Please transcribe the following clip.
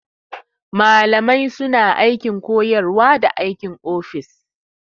Malamai suna aikin koyarwa da aikin ofis.